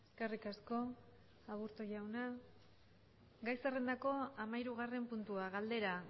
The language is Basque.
eskerrik asko aburto jauna gai zerrendako hamahirugarren puntua galdera